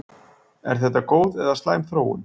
Er þetta góð eða slæm þróun?